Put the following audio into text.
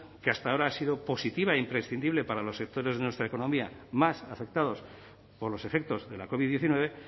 que hasta ahora ha sido positiva e imprescindible para los sectores de nuestra economía más afectados por los efectos de la covid diecinueve